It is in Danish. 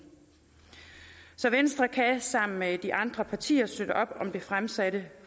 så venstre kan sammen med de andre partier støtte op om det fremsatte